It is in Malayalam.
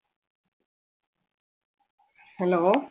hello